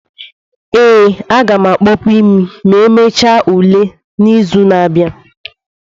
ee, a ga m akpopu imi ma emechaa ule m n'izu na-abịa.